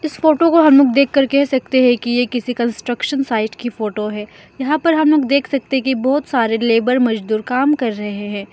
इस फोटो को हम लोग देख कर कह सकते हैं कि ये किसी कंस्ट्रक्शन साइट की फोटो है यहां पर हम लोग देख सकते की बहोत सारे लेबर मजदूर काम कर रहे हैं।